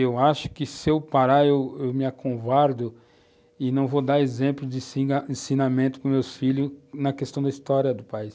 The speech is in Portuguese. Eu acho que, se eu parar, eu eu acovardo-me e não vou dar exemplo de ensinamento para os meus filhos na questão da história do país.